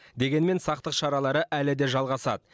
дегенмен сақтық шаралары әлі де жалғасады